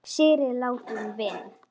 Syrgið látinn vin!